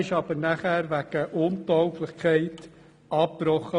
Dieser wurde jedoch wegen Untauglichkeit abgebrochen.